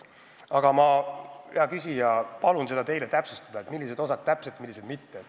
Aga ma, hea küsija, palun seda teile täpsustada, millised osad võetakse üle, millised mitte.